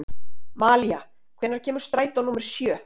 Malía, hvenær kemur strætó númer sjö?